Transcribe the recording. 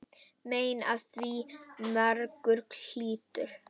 Mein af því margur hlýtur.